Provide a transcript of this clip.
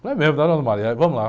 Falei, é mesmo, dona, vamos lá.